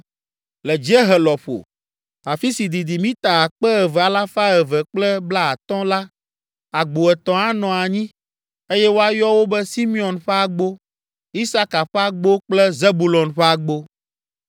Le dziehe lɔƒo, afi si didi mita akpe eve alafa eve kple blaatɔ̃ (2,250) la, agbo etɔ̃ anɔ anyi, eye woayɔ wo be Simeon ƒe agbo, Isaka ƒe agbo kple Zebulon ƒe agbo.